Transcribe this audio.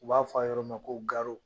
U b'a fɔ a yɔrɔ ma ko garo.